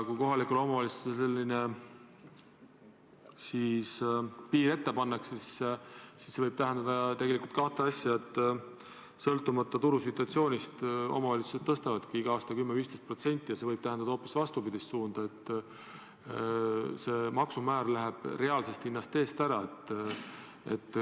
Kui kohalikele omavalitsustele selline piir ette pannakse, siis see võib tähendada ka seda, et sõltumata turusituatsioonist omavalitsused ehk tõstavadki iga aasta hinda 10–15%, ja see võib tähendada hoopis vastupidist suunda, et see maksumäär ületab reaalse hinna.